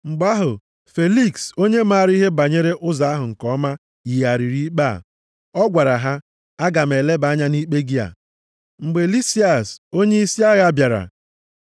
Mgbe ahụ, Feliks onye maara ihe banyere Ụzọ ahụ nke ọma yigharịrị ikpe a. Ọ gwara ha, “Aga m eleba anya nʼikpe gị a, mgbe Lisias onyeisi agha bịara.”